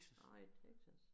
Nej ik Texas